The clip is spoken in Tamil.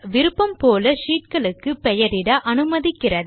விருப்பம் போல ஷீட் களுக்கு பெயரிட அனுமதிக்கிறது